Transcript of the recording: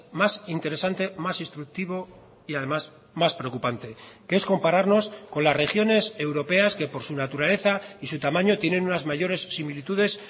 más interesante más instructivo y además más preocupante que es compararnos con las regiones europeas que por su naturaleza y su tamaño tienen unas mayores similitudes